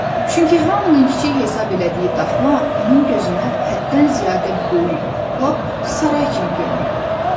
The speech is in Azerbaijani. Çünki hamının kiçik hesab elədiyi daxma onun gözünə həddən ziyadə böyük, lap saray kimi göründü.